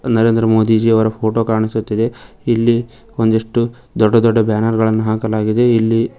ನರೇಂದ್ರ ಮೋದಿ ಜಿ ಅವರ ಫೋಟೋ ಕಾಣಿಸುತ್ತಿದೆ ಇಲ್ಲಿ ಒಂದಿಷ್ಟು ದೊಡ್ಡ ದೊಡ್ಡ ಬ್ಯಾನರ್ ಗಳನ್ನು ಹಾಕಲಾಗಿದೆ ಇಲ್ಲಿ--